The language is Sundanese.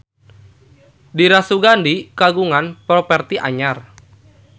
Dira Sugandi kagungan properti anyar